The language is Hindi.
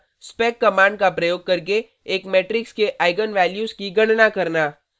spec कमांड का प्रयोग करके एक मेट्रिक्स के आईगन वैल्यूज की गणना करना